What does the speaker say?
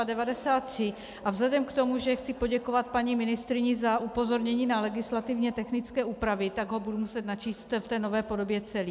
A vzhledem k tomu, že chci poděkovat paní ministryni za upozornění na legislativně technické úpravy, tak ho budu muset načíst v té nové podobě celý.